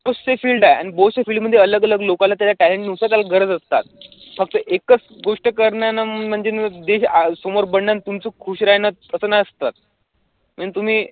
दुसरी field आहे आणि field मध्ये अलग अलग लोकांना त्याचं talent नुसार त्याला गरज असतात फक्त एकचं गोष्ट करणं आणि म्हणजे देशासमोर आणि तुमचं खुश राहणं असं नसतं म्हणजे तुम्ही